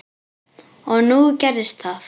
Og nú gerðist það.